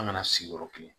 An kana sigiyɔrɔ kelen